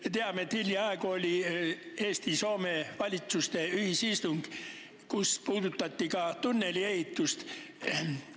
Me teame, et hiljaaegu oli Eesti ja Soome valitsuse ühisistung, kus puudutati ka tunneli ehitust.